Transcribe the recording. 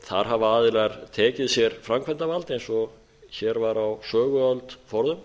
þar hafa aðila tekið sér framkvæmdarvald eins og hér var á söguöld forðum